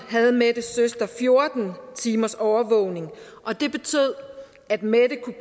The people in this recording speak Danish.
havde mettes søster fjorten timers overvågning og det betød at mette kunne